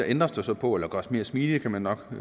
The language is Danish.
ændres der så på eller gøres mere smidige kan man nok i